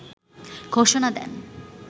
ঘোষণা দেন